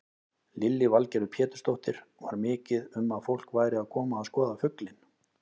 Lillý Valgerður Pétursdóttir: Var mikið um að fólk væri að koma að skoða fuglinn?